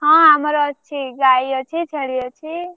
ହଁ ଆମର ଅଛି ଗାଈ ଅଛି ଛେଳି ଅଛି।